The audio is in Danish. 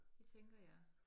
Det tænker jeg